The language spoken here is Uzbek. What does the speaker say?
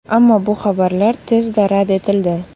Ammo bu xabarlar tezda rad etildi .